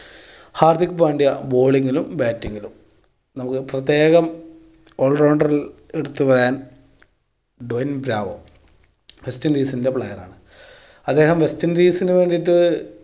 Hardik Pandya bowling ലും batting ലും നമുക്ക് പ്രത്യേകം all rounder ൽ എടുത്ത് പറയാൻ ട്വയിൻ ബ്രാവോ വെസ്റ്റ് ഇന്ഡീസിൻ്റെ player ആണ്. അദ്ദേഹം വെസ്റ്റ് ഇന്ഡീസിന് വേണ്ടിയിട്ട്